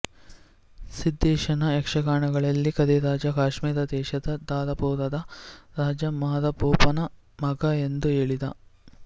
ಸಿದ್ಧೇಶನ ಯಕ್ಷಗಾನದಲ್ಲಿ ಕರಿರಾಜ ಕಾಶ್ಮೀರ ದೇಶದ ಧಾರಾಪುರದ ರಾಜ ಮಾರಭೂಪನ ಮಗ ಎಂದು ಹೇಳಿದೆ